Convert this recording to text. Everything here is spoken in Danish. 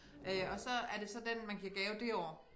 Øh og så er det så den man giver gave det år